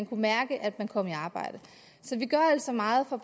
kan mærke at man kommer i arbejde så vi gør altså meget for